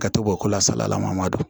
Ka to bɔ ko la salayala man don